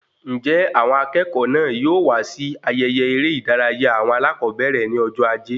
Njẹ àwọn akẹ́kọ̀ọ́ náà yóò wá sí ayẹyẹ eré ìdárayá awọn alakobere ní ọjọ ajé?